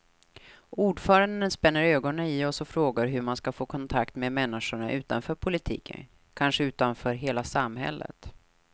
Ordföranden spänner ögonen i oss och frågar hur man ska få kontakt med människorna utanför politiken, kanske utanför hela samhället.